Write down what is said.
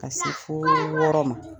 Ka se foo wɔɔrɔ ma.